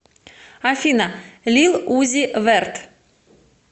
афина лил узи вэрт